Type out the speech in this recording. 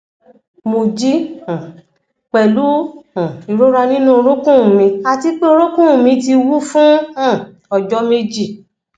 mo jí um pẹlú um ìrora nínú orúnkún mi àti pé orúnkún mi ti wú fún um ọjọ méjì